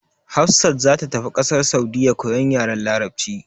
Hafsat za ta tafi kasar Saudiyya koyan yaren larabci.